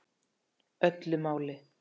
Öllu máli.